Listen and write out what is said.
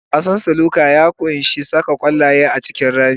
Wasan snooker ya ƙunshi saka ƙwallaye a cikin rami.